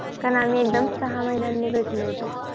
कारण आम्ही एकदम सहा महिन्यांनी भेटलो होतो